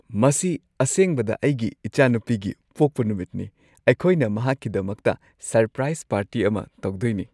ꯃꯁꯤ ꯑꯁꯦꯕꯗ ꯑꯩꯒꯤ ꯢꯆꯥꯅꯨꯄꯤꯒꯤ ꯄꯣꯛꯄ ꯅꯨꯃꯤꯠꯅꯤ ꯫ ꯑꯩꯈꯣꯏꯅ ꯃꯍꯥꯛꯀꯤꯗꯃꯛꯇ ꯁꯔꯄ꯭ꯔꯥꯢꯖ ꯄꯥꯔꯇꯤ ꯑꯃ ꯇꯧꯗꯣꯢꯅꯤ ꯫